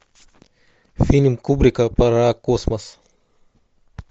фильм кубрика про космос